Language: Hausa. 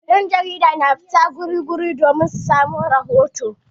Yan' jaridu na zuwa wurare daban-daban domin ɗauko rahoto.